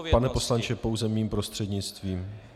Pane poslanče, pouze mým prostřednictvím.